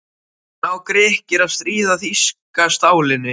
Ná Grikkir að stríða þýska stálinu?